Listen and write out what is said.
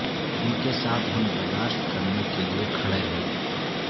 ان کے ساتھ ہم برداشت کرنے کے لئے کھڑے ہیں